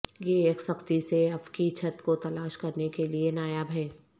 یہ ایک سختی سے افقی چھت کو تلاش کرنے کے لئے نایاب ہے